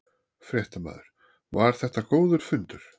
Fréttamaður: Var þetta góður fundur?